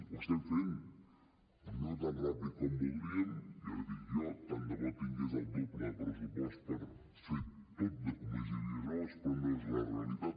ho estem fent no tan ràpid com voldríem ja l’hi dic jo tant de bo tingués el doble de pressupost per fer tot de comissaries noves però no és la realitat